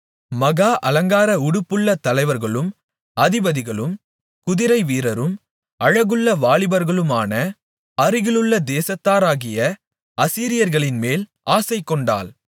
மகா அலங்கார உடுப்புள்ள தலைவர்களும் அதிபதிகளும் குதிரை வீரரும் அழகுமுள்ள வாலிபர்களுமான அருகிலுள்ள தேசத்தாராகிய அசீரியர்களின்மேல் ஆசைக்கொண்டாள்